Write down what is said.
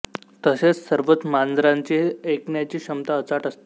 तसेच सर्वच मांजरांची ऐ कण्याची क्षमता अचाट असते